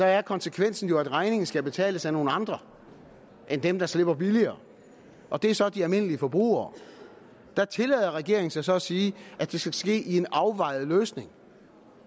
er konsekvensen jo at regningen skal betales af nogle andre end dem der slipper billigere og det er så de almindelige forbrugere der tillader regeringen sig så at sige at det skal ske i en afvejet løsning